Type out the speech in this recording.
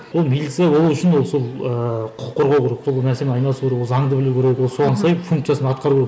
ол милиция болу үшін ол сол ыыы құқық қорғау керек айналысу керек ол заңды білу керек ол соған сай функциясын атқару керек